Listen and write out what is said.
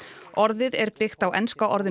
orðið er byggt á enska orðinu